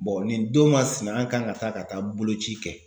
nin don ka sinaya k'an ka taa ka taa boloci kɛ.